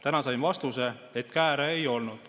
Täna sain vastuse, et kääre ei olnud.